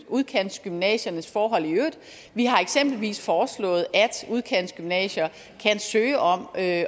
udkantsgymnasiernes forhold i øvrigt vi har eksempelvis foreslået at udkantsgymnasier kan søge om at